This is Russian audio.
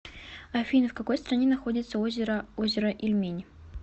афина в какой стране находится озеро озеро ильмень